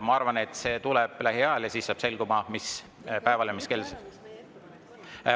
Ma arvan, et see tuleb lähiajal, ja siis saab selguma, mis päeval ja mis kell …